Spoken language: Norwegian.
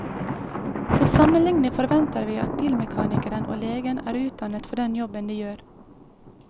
Til sammenligning forventer vi at bilmekanikeren og legen er utdannet for den jobben de gjør.